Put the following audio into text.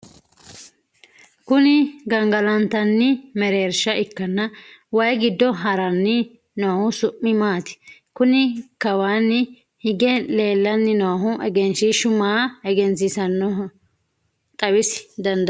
kuni gangalantanni mereensha ikkanna, wayi giddo haranni noohu su'mi maati? kuni kawaanni hige leellanni noohu egenshiishshu maa egensiinsoonnihoro xawisa dandaatto?